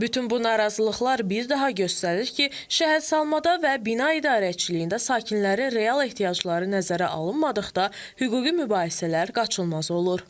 Bütün bu narazılıqlar bir daha göstərir ki, şəhərsalmada və bina idarəçiliyində sakinlərin real ehtiyacları nəzərə alınmadıqda hüquqi mübahisələr qaçılmaz olur.